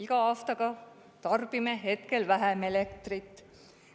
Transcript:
Iga aastaga tarbime hetkel vähem elektrit.